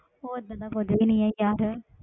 ਉਹ ਏਦਾਂ ਦਾ ਕੁੱਝ ਵੀ ਨੀ ਹੈ ਯਾਰ।